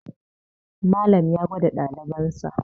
Malam ya gwada ɗalibansa